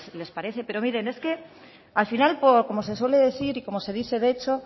les parece pero miren es que al final como se suele decir y como se dice de hecho